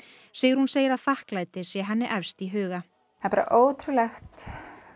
Sigrún segir að þakklæti sé henni efst í huga það er bara ótrúlegt